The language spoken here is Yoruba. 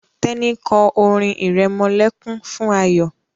Teni kọ orin iremolekun fún Ayo.